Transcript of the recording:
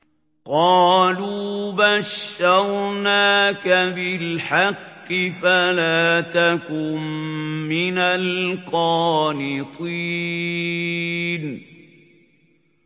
قَالُوا بَشَّرْنَاكَ بِالْحَقِّ فَلَا تَكُن مِّنَ الْقَانِطِينَ